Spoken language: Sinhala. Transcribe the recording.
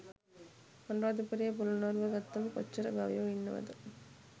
අනුරාධපුරය පොළොන්නරුව ගත්තම කොච්චර ගවයො ඉන්නවද?